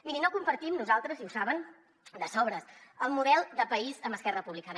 miri no compartim nosaltres i ho saben de sobres el model de país amb esquerra republicana